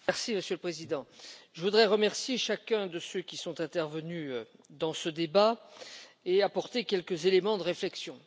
Monsieur le Président, je voudrais remercier chacun de ceux qui sont intervenus dans ce débat et apporter quelques éléments de réflexion.